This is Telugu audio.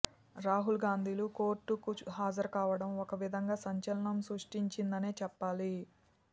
రాహుల్ గాంధీలు కోర్టుకు హాజరు కావటం ఒకవిధంగా సంచలనం సృష్టించిందనే చెప్పాలి